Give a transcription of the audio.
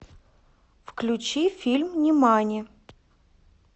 включи фильм нимани